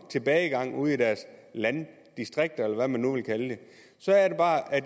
tilbagegang ude i deres landdistrikter eller hvad man nu vil kalde det så er det bare